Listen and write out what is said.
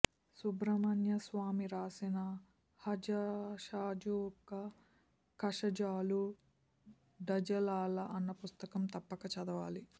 సుబ్రమణ్యస్వామి వ్రాసిన హజశజూఖఒ ఖశజూళూ డజళళ అన్న ఫుస్తకం తప్పక చదవాలి